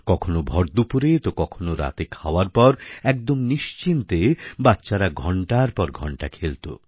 কখনও ভরদুপুরে তো কখনও রাতে খাওয়ার পর একদম নিশ্চিন্তে বাচ্চারা ঘণ্টার পর ঘণ্টা খেলত